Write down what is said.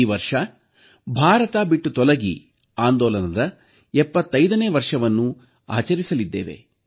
ಈ ವರ್ಷ ಭಾರತ ಬಿಟ್ಟು ತೊಲಗಿ ಆಂದೋಲನದ 75ನೇ ವರ್ಷವನ್ನು ಆಚರಿಸಲಿದ್ದೇವೆ